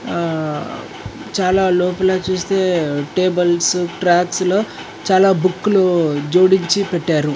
ఆ చాలా లోపల చూస్తే టేబుల్స్ ట్రాక్స్ లో చాలా బుక్లు జోడించి పెట్టారు.